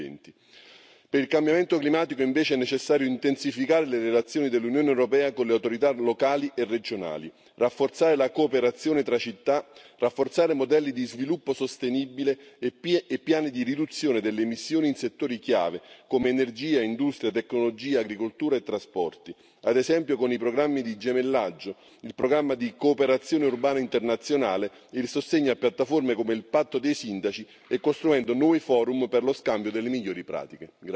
2020. Per il cambiamento climatico, invece, è necessario intensificare le relazioni dell'Unione europea con le autorità locali e regionali, rafforzare la cooperazione tra città, rafforzare modelli di sviluppo sostenibile e piani di riduzione delle emissioni in settori chiave, come energia, industria, tecnologia, agricoltura e trasporti, ad esempio con i programmi di gemellaggio, il programma di cooperazione urbana internazionale, il sostegno a piattaforme come il Patto dei sindaci e costruendo nuovi forum per lo scambio delle migliori pratiche.